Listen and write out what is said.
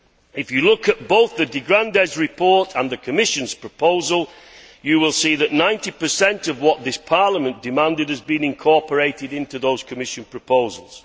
If you look at both the de Grandes Pascual report and the Commission's proposal, you will see that 90 of what this Parliament demanded has been incorporated into those Commission proposals.